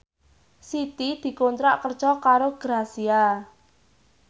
Siti dikontrak kerja karo Grazia